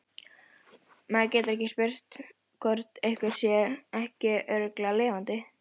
Maður getur ekki spurt hvort einhver sé ekki örugglega lifandi